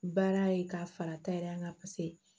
Baara ye k'a fara ta yɛrɛ kan paseke